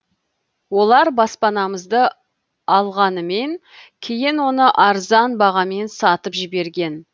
олар баспанамызды алғанымен кейін оны арзан бағамен сатып жіберген